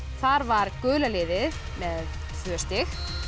þar var gula liðið með tvö stig